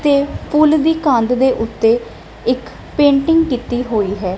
ਤੇ ਫੁੱਲ ਦੀ ਕੰਧ ਦੇ ਓੱਤੇ ਇੱਕ ਪੇਂਟਿੰਗ ਕੀਤੀ ਹੋਈ ਹੈ।